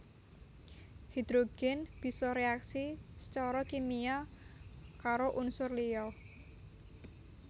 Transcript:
Hidrogen bisa reaksi sacara kimia karo unsur liya